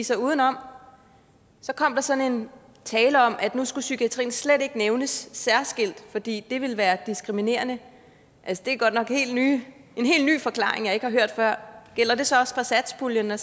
sig udenom så kom der sådan en tale om at nu skulle psykiatrien slet ikke nævnes særskilt fordi det ville være diskriminerende altså det er godt nok en helt ny forklaring jeg ikke har hørt før gælder det så også for satspuljen at